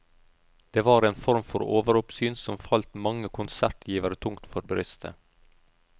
Det var en form for overoppsyn som falt mange konsertgivere tungt for brystet.